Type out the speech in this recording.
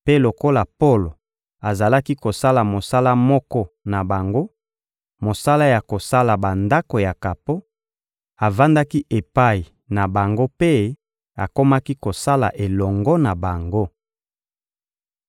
mpe lokola Polo azalaki kosala mosala moko na bango, mosala ya kosala bandako ya kapo, avandaki epai na bango mpe akomaki kosala elongo na bango.